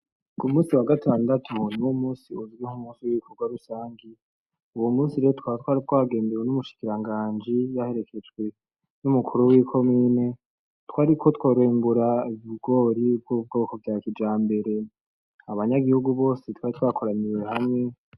Ku munsi wagatandatu niwo munsi ugizwe n' ibikorwa rusangi, uwo munsi rero tukaba twari twagendewe n'umushikiranganji yaherekejwe n'umukuru, w'ikomine twariko turimbura ibigori vy'ubwoko vya kijambere abanyagihugu bose twari twakora hamwe.